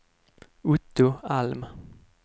Otto Alm